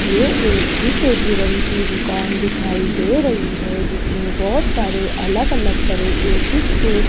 ये एक fish aquarium की दुकान दिखाई दे रही है जिसमें बहोत सारे अलग अलग तरह के फिश के --